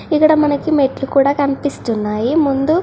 ఇక్కడ మనకి మెట్లు కూడా కనిపిస్తున్నాయి ముందు --